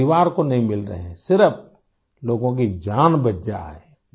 خاندان سے نہیں مل رہے ہیں ، صرف لوگوں کی جان بچ جائے